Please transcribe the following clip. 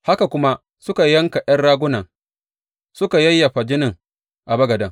Haka kuma suka yanka ’yan ragunan suka yayyafa jinin a bagaden.